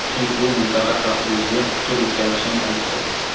chunki bu mintaqa xavfsizligiga putur yetkazishini aytdi.